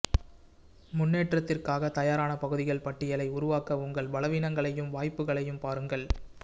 முன்னேற்றத்திற்காக தயாரான பகுதிகள் பட்டியலை உருவாக்க உங்கள் பலவீனங்களையும் வாய்ப்புகளையும் பாருங்கள்